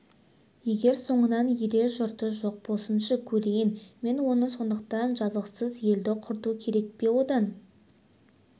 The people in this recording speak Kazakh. егер соңынан ерер жұрты жоқ болсыншы көрейін мен оны сондықтан жазықсыз елді құрту керек пе одан